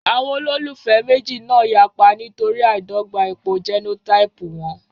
Àwọn olólùfẹ́ méjì náà yapa nítorí àìdọ́gba ipò jẹ́nótáípù wọn